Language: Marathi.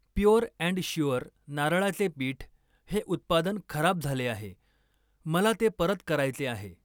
प्युअर अँड श्युअर नारळाचे पीठ हे उत्पादन खराब झाले आहे, मला ते परत करायचे आहे.